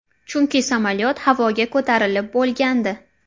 Chunki samolyot havoga ko‘tarilib bo‘lgandi.